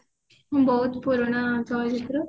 ବହୁତ ପୁରୁଣା ଚଳଚିତ୍ର